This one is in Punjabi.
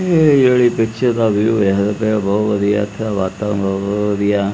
ਇਹ ਜਿਹੜੀ ਪਿਕਚਰ ਦਾ ਵਿਊ ਵੇਖਦੇ ਪਏ ਹੋ ਬਹੁਤ ਵਧੀਆ ਹੈ ਇੱਥੇ ਦਾ ਵਾਤਾਵਰਣ ਬਹੁਤ ਵਧੀਆ।